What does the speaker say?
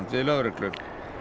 við lögreglu